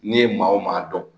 N'i ye maa o maa dɔn